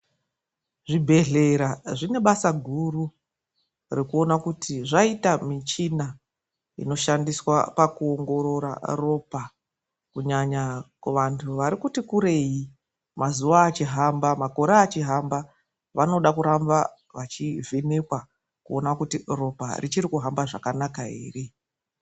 Zvibhedhlera zvine basa guru rekuona kuti zvaita michina inoshandiswa pakuongorora ropa kunyanya kuvantu varikuti kurei mazuva achihamba makore achihamba vanoda kuramba vachivhenekwa kuti ropa richiri kuhamba zvakanaka ere.